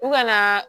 U ka na